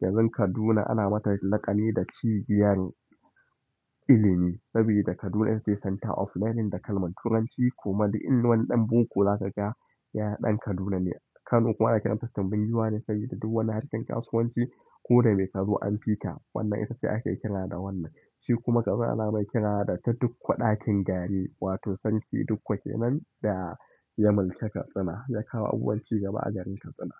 Garin Kaduna ana mata laƙani da cibiyar ilimi saboda Kaduna itace centre of learning da kalmar Turanci kuma duk in wani ɗan boko za kaga, yana ɗan Kaduna ne. Kano kuwa ana kiranta tumbin giwane saboda duk wani harkan kasuwanci koda mai kazo anfika, wannan itace ake kira da wannan. Shi kuma Katsina anamai kirari da ta dukku ɗakin gari wato sarki dukku kenan da ya mulki Katsina, yakawo abubuwan cigaba a garin Katsina.